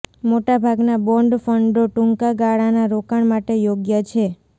મોટા ભાગના બોન્ડ ફંડો ટૂંકા ગાળાના રોકાણ માટે યોગ્ય છે